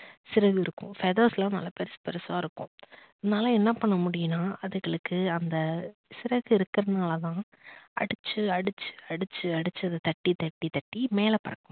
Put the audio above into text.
சிறகு இருக்கும் feathers லாம் நல்லா பெருசு பெருசா இருக்கும். அதனால என்ன பண்ண முடியும்னா அதுங்களுக்கு அந்த சிறகு இருக்கறதுனால தான் அடிச்சு அடிச்சு அடிச்சு அடிச்சு அத தட்டி தட்டி தட்டி மேல பறக்கும்